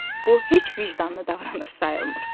Bu heç vicdanlı davranış sayılmır.